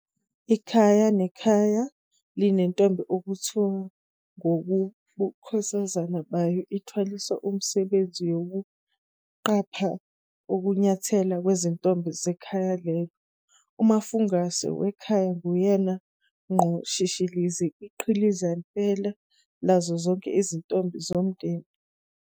Ikhaya nekhaya Iinentombi okuthi ngokobukhosazane bayo ithwaliswe umsebenzi wokuqapha ukunyathela kwezintombi zekhaya lelo. Umafungwase wekhaya nguyena ngqo shishilizi, iqhikiza phela, lazo zonke izintombi zomndeni.